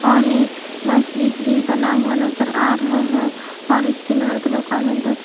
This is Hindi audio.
और एक मस्जिद भी बना हुआ नजर आ रहा है और इस सिल्वर की दुकान में दो--